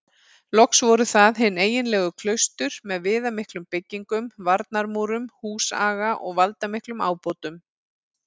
Loks voru það hin eiginlegu klaustur með viðamiklum byggingum, varnarmúrum, húsaga og valdamiklum ábótum.